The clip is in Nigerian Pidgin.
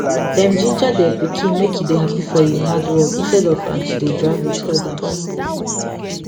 them jinja der pikin make e dey happy for e hardwork instead of am to dey drag with others